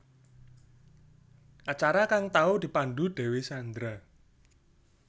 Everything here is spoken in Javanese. Acara kang tau dipandhu Dewi Sandra